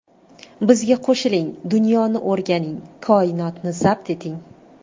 Bizga qo‘shiling, dunyoni o‘rganing, koinotni zabt eting!